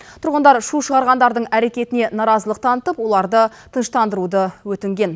тұрғындар шу шығарғандардың әрекетіне наразылық танытып оларды тыныштандыруды өтінген